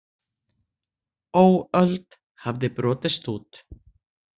Óöld hafði brotist út.